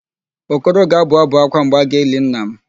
Okoro ga-abụ ábụ̀ ákwá mgbe a ga-eli nna m.